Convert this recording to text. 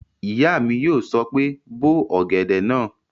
Ìyá mi yóò sọ pé "bó ọ̀gẹ̀dẹ̀ náà!"